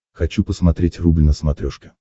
хочу посмотреть рубль на смотрешке